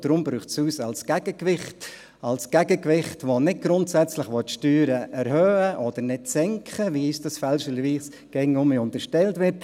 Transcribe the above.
Und deshalb braucht es uns als Gegengewicht – als Gegengewicht, das nicht grundsätzlich die Steuern erhöhen oder nicht senken will, wie uns dies fälschlicherweise immer wieder unterstellt wird.